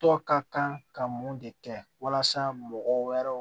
Tɔ ka kan ka mun de kɛ walasa mɔgɔ wɛrɛw